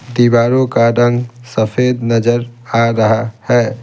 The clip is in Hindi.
दीवारों का रंग सफेद नजर आ रहा है।